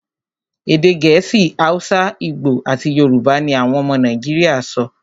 Èdè Gẹ̀ẹ́sì, Hausa, Igbo, àti Yorùbá ní àwọn ọmọ Nàìjíríà sọ.